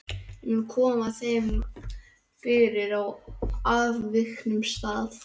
Ég mun koma þeim fyrir á afviknum stað.